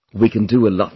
We can do a lot